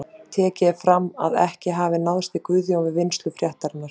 Tekið er fram að ekki hafi náðst í Guðjón við vinnslu fréttarinnar.